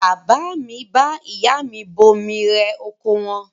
Bàbá mi bá ìyá mi bomi rẹ oko wọn.